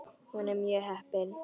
Hún er mjög heppin.